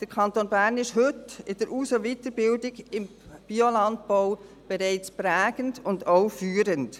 Der Kanton Bern ist heute in der Aus- und Weiterbildung im Biolandbau bereits prägend und auch führend.